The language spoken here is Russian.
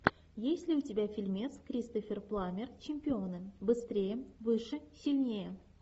есть ли у тебя фильмец кристофер пламмер чемпионы быстрее выше сильнее